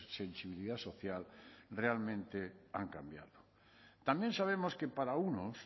sensibilidad social realmente han cambiado también sabemos que para unos